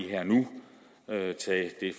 her og nu tages et